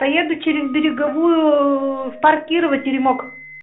поеду через береговую в парк кирова теремок